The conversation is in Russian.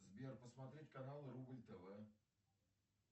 сбер посмотреть канал рубль тв